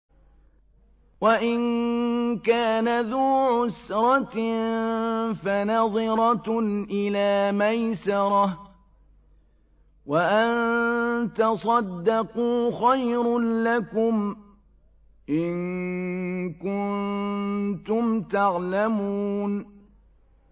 وَإِن كَانَ ذُو عُسْرَةٍ فَنَظِرَةٌ إِلَىٰ مَيْسَرَةٍ ۚ وَأَن تَصَدَّقُوا خَيْرٌ لَّكُمْ ۖ إِن كُنتُمْ تَعْلَمُونَ